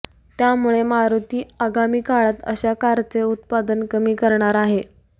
त्यामुळे मारुती आगामी काळात अशा कारचे उत्पादन कमी करणार आहे